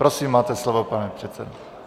Prosím, máte slovo, pane předsedo.